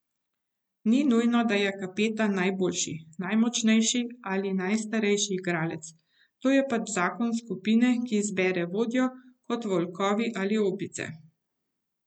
Ni nujno, da je kapetan najboljši, najmočnejši ali najstarejši igralec, to je pač zakon skupine, ki izbere vodjo kot volkovi ali opice.